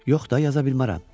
Yox da, yaza bilmərəm.